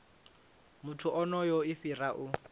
muthu onoyo i fhira u